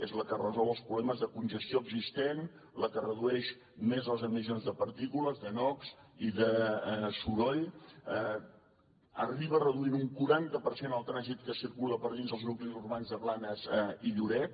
és la que resol els problemes de congestió existent la que redueix més les emissions de partícules de nox i de soroll arriba a reduir en un quaranta per cent el trànsit que circula per dins els nuclis urbans de blanes i lloret